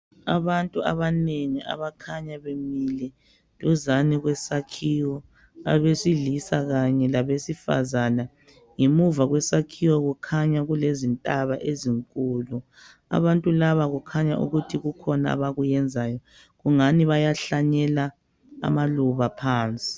Abantu abanengi abakhanya bemile duzane kwesakhiwo. Abesilisa Kanye labesifazana. Ngemuva kwesakhiwo kukhanya kule zintaba ezinkulu. Abantu laba kukhanya ukuthi kukhona abakwenzayo. Ungani bayahlanyela amaluba phansi